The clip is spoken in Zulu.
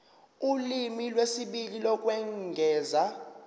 ulimi lwesibili lokwengeza